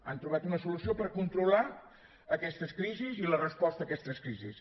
han trobat una solució per controlar aquestes crisis i la resposta a aquestes crisis